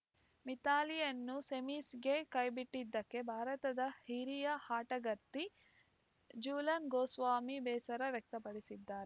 ಮಿಥಾಲಿಯನ್ನು ಸೆಮೀಸ್‌ಗೆ ಕೈಬಿಟ್ಟಿದ್ದಕ್ಕೆ ಭಾರತದ ಹಿರಿಯ ಆಟಗಾರ್ತಿ ಜೂಲನ್‌ ಗೋಸ್ವಾಮಿ ಬೇಸರ ವ್ಯಕ್ತಪಡಿಸಿದ್ದಾರೆ